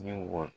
Ɲɛmɔgɔ